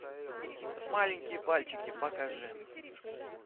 маленькие пальчики покажи